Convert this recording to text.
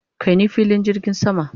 kai ni filin jirgin sama!